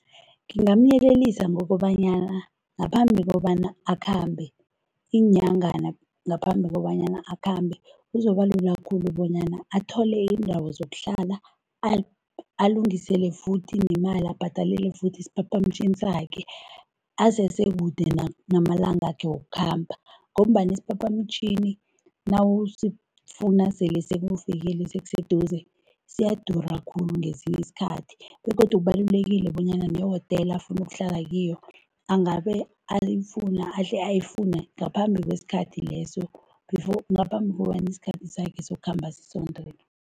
Ngingamyelelisa ngokobanyana ngaphambi kobana akhambe, iinyangana ngaphambi kobanyana akhambe, kuzobalula khulu bonyana athole iindawo zokuhlala, alungisele futhi nemali abhadalele futhi isiphaphamtjhini sakhe asesekude namalangakhe wokukhamba ngombana isiphaphamtjhini nawusifuna sele sekufikile, sekuseduze, siyadura khulu ngesinye isikhathi begodu kubalulekile bonyana nehotela afuna ukuhlala kiyo, angabe alifuna, ahle ayifune ngaphambi kwesikhathi leso ngaphambi kobana isikhathi sakhe sokukhamba sisondele.